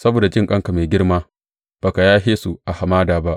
Saboda jinƙanka mai girma, ba ka yashe su a hamada ba.